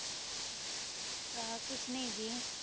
ਆਹ ਕੁਛ ਨਾਈ ਜੀ